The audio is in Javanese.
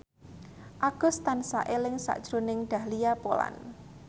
Agus tansah eling sakjroning Dahlia Poland